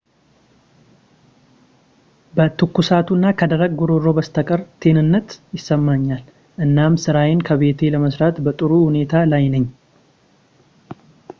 ከትኩሳቱ እና ከደረቅ ጉሮሮ በስተቀር ጤንነት ይሰማኛል እናም ስራዬን ከቤቴ ለመስራት በጥሩ ሁኔታ ላይ ነኝ